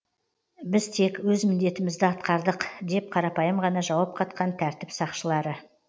біз тек өз міндетімізді атқардық деп қарапайым ғана жауап қатқан тәртіп сақшылары